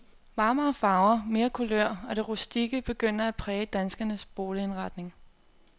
Varmere farver, mere kulør og det rustikke begynder at præge danskernes boligindretning.